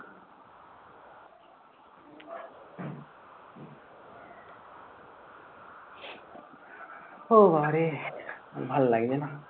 ও মা রে! ভাল লাগছে না।